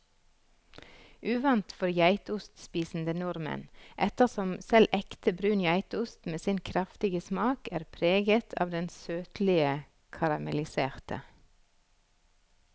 Uvant for geitostspisende nordmenn, ettersom selv ekte brun geitost med sin kraftige smak er preget av det søtlige karamelliserte.